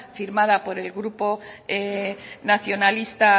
firmada por el grupo nacionalistas